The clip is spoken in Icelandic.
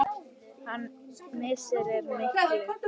Hans missir er mikill.